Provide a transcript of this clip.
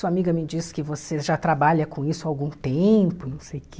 Sua amiga me disse que você já trabalha com isso há algum tempo, não sei o quê...